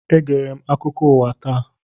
Egere m akụkọ ụwa taa.